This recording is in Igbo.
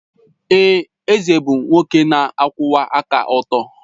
Èè, eze bụ nwoke na-akwụwa aka ọtọ.